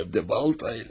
Emlə baltayla.